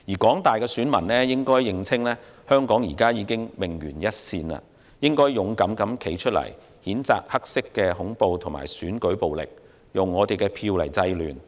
廣大選民應認清香港現已命懸一線，要勇敢地站出來，譴責黑色恐怖和選舉暴力，以票制亂。